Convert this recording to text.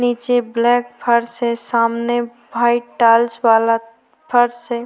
नीचे ब्लैक फर्श है सामने व्हाइट टाइल्स वाला फर्श है।